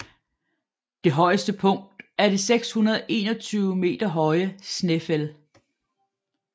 Det højeste punkt er det 621 meter høje Snaefell